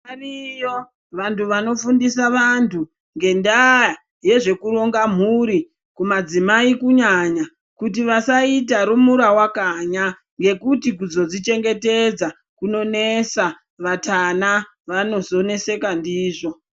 Variyo vantu vanofundiswa vantu ngendaa yezvekutonga mhuri kumadzimai kunyanya kuti vasaita rumura wakanya ngekuti kuzodzichengetedza kunonesa vatana vanozoneseka ndizvo.